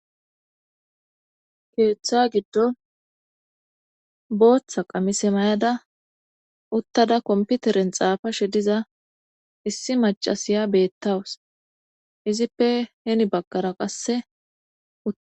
Keeththa giddo booththa qamise may7ada uttada komputeren xaafa she diza issi macasiya beettawus izippe heni baggara qasseut